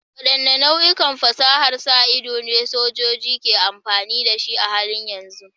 Waɗanne nau'ikan fasahar sa ido ne sojoji ke amfani da su a halin yanzu?